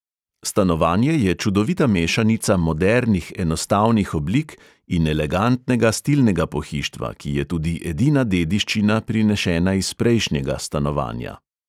Stanovanje je čudovita mešanica modernih enostavnih oblik in elegantnega stilnega pohištva, ki je tudi edina dediščina prinešena iz prejšnjega stanovanja.